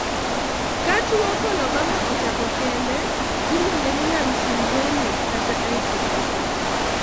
ka tuwo coloboma ochako kende, iluongeni nonsyndromic kata isolated